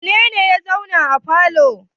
Wane ne ya zauna a falo?